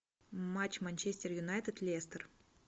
матч манчестер юнайтед лестер